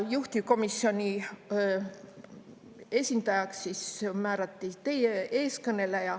Juhtivkomisjoni esindajaks määrati teie ees kõneleja.